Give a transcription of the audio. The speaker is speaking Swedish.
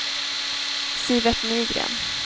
Sivert Nygren